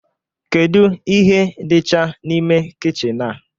Kedu ihe dịcha n'ime kichin a?